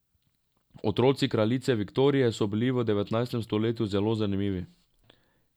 Otroci kraljice Viktorije so bili v devetnajstem stoletju zelo zanimivi.